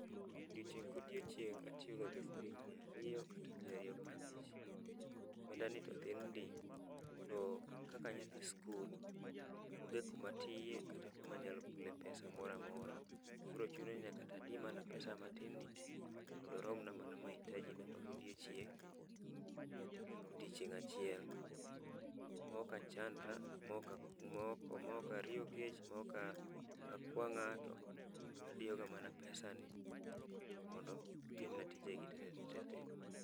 Odiochieng' kodiochieng' atiyoga gi siling' miya ariyo kata siling' mia riyo prabich. Gwenda ni to thin ndi, to kaka anyathi skul, onge kumatiye kata kumanyalo gole pesa moramora. Koro chuna ni nyaka tadi mana pesa matin ni e mondorom na mahitaji na mag odiochieng', odiochieng' achiel. Mokachandra, maoka, mokariyo kech, mokakwa ng'ato, adiyoga mana pesa ni mondo timna tijegi te te te.